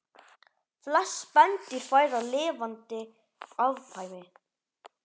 Flest spendýr fæða lifandi afkvæmi